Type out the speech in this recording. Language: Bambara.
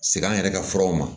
Segi an yɛrɛ ka furaw ma